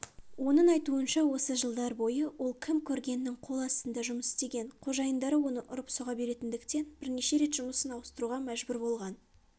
оның айтуынша осы жылдар бойы ол кім-көрінгеннің қол астында жұмыс істеген қожайындары оны ұрып-соға беретіндіктен бірнеше рет жұмысын ауыстыруға мәжбүр болған